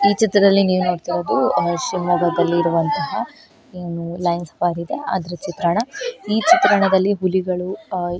ಈ ಚಿತ್ರದಲ್ಲಿ ನೀವ್ ನೋಡತ್ತಿರೋದು ಶಿಮೊಗ್ಗದಲ್ಲಿರುವಂತಹ ಏನು ಲೈನ್ಸ್ ಫಾರ್ ಇದೆ ಅದ್ರ ಚಿತ್ರಣ ಈ ಚಿತ್ರದಲ್ಲಿ ಹುಲಿಗಳು ಆಯ್--